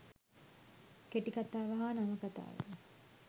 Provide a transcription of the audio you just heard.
කෙටිකතාව හා නවකතාව